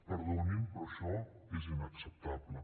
perdonin però això és inacceptable